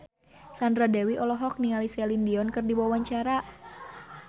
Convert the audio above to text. Sandra Dewi olohok ningali Celine Dion keur diwawancara